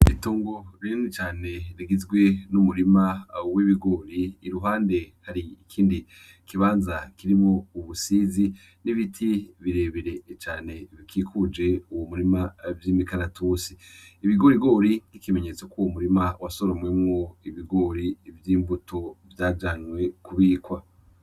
Itongo birimwi cane rigizwe n'umurima awo uwo ibigori i ruhande hari ikindi kibanza kiribo ubusizi n'ibiti birebere cane bikikuje uwu murima vyo imikaratusi ibigorigori k'ikimenyetso k'uwo murima wa soromwemwo ibigori vyo imbuto vyajanywe kubikwa.